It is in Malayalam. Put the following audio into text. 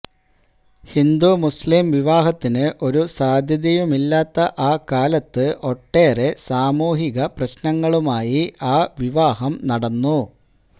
ഹിന്ദു മുസ്ലിം വിവാഹത്തിന് ഒരു സാധ്യതയുമില്ലാത്ത ആ കാലത്ത് ഒട്ടേറെ സാമൂഹിക പ്രശ്നങ്ങളുമായി ആ വിവാഹം നടന്നു